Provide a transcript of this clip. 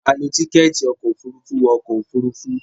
a ló Tíkẹ́ẹ̀tì ọkọ̀ òfurufú wọ ọkọ̀ òfurufú.